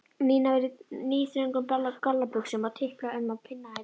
Nína var í níðþröngum gallabuxum og tiplaði um á pinnahælum.